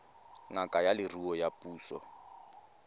ngaka ya leruo ya puso